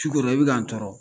T'u kɔrɔ i bi ka n tɔɔrɔ.